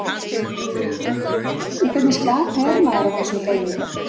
Hugrún: Í hvernig skapi er maður á þessum degi?